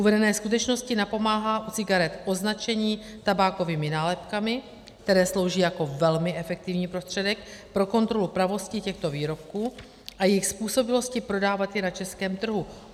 Uvedené skutečnosti napomáhá u cigaret označení tabákovými nálepkami, které slouží jako velmi efektivní prostředek pro kontrolu pravosti těchto výrobků a jejich způsobilosti prodávat je na českém trhu.